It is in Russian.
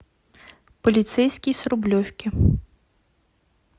полицейский с рублевки